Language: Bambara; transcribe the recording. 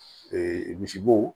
misibo